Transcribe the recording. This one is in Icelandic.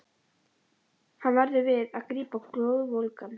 Hann verðum við að grípa glóðvolgan.